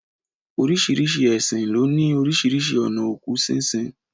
Oríṣiríṣi ẹ̀sìn ló ní oríṣiríṣi ònà òkú sínsin.